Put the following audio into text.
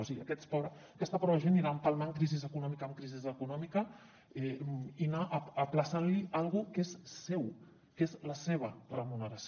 o sigui aquesta pobra gent anirà empalmant crisi econòmica amb crisi econòmica i se li anirà ajornant una cosa que és seva que és la seva remuneració